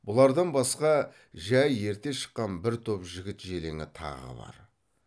бұлардан басқа жай ерте шыққан бір топ жігіт желеңі тағы бар